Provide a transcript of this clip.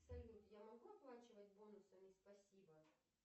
салют я могу оплачивать бонусами спасибо